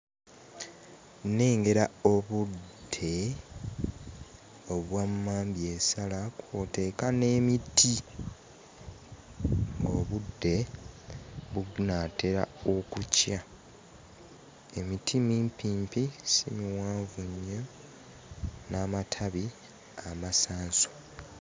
Nnengera obudde obwa mmambyesala kw'oteeka n'emiti. Obudde bunaatera okukya, emiti mimpimpi, si miwanvu nnyo n'amatabi amasanso.